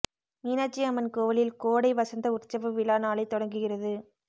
மீனாட்சி அம்மன் கோவிலில் கோடை வசந்த உற்சவ விழா நாளை தொடங்குகிறது